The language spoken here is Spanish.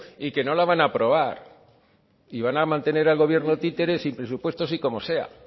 y que no la van aprobar y van a mantener al gobierno títere sin presupuestos y como sea